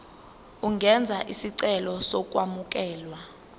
ungenza isicelo sokwamukelwa